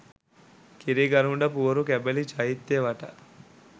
කිරිගරුඬ පුවරු කැබලි චෛත්‍ය වටා